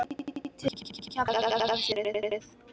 Mætið mér í Keflavík ef þið þorið!